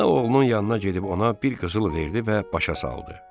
Ana oğlunun yanına gedib ona bir qızıl verdi və başa saldı.